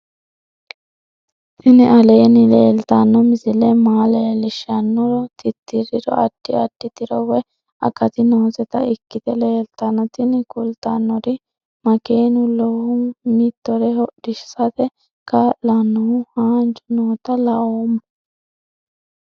tini aleenni leetanno misile maa leellishshannoro tirriri addi addi tiro woy akati nooseta ikkite leeltanno tini kultannori makeenu lowohu mitore hodhisate kaa'lannohu haanju noota laoommo